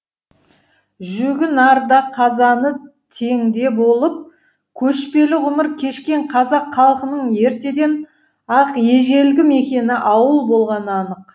жүгі нарда қазаны теңде болып көшпелі ғұмыр кешкен қазақ халқының ертеден ақ ежелгі мекені ауыл болғаны анық